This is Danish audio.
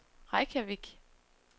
Reykjavik